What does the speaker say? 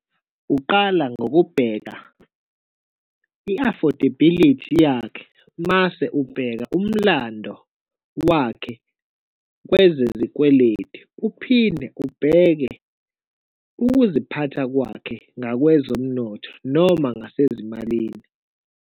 Uqala ngokubheka i-affordability yakhe, mase ubheka umlando wakhe kwezezikweletu, uphinde ubheke ukuziphatha kwakhe ngakwezomnotho noma ngasezimalini.